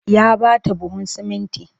Ya ba ta buhun sumunti